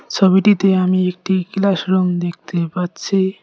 ছবিটিতে আমি একটি ক্লাস রুম দেখতে পাচ্ছি।